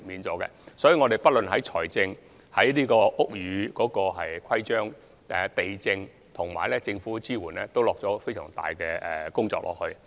所以，我們不論是在財政，還是在屋宇規章、地政總署或政府的支援上，都下了很多工夫。